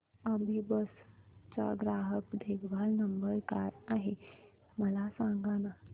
अभिबस चा ग्राहक देखभाल नंबर काय आहे मला सांगाना